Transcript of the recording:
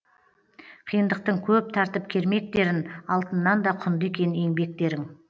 қиындықтың көп тартып кермектерін алтыннан да құнды екен еңбектерің